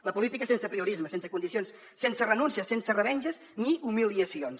la política sense apriorismes sense condicions sense renúncies sense revenges ni humiliacions